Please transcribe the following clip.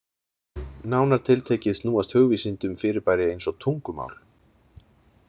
Nánar tiltekið snúast hugvísindi um fyrirbæri eins og tungumál.